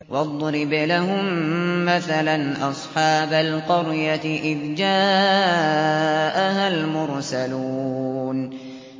وَاضْرِبْ لَهُم مَّثَلًا أَصْحَابَ الْقَرْيَةِ إِذْ جَاءَهَا الْمُرْسَلُونَ